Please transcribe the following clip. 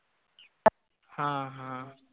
हा हा.